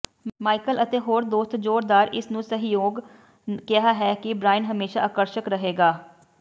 Michael ਅਤੇ ਹੋਰ ਦੋਸਤ ਜ਼ੋਰਦਾਰ ਇਸ ਨੂੰ ਸਹਿਯੋਗ ਕਿਹਾ ਹੈ ਕਿ ਬ੍ਰਾਇਨ ਹਮੇਸ਼ਾ ਆਕਰਸ਼ਕ ਰਹੇਗਾ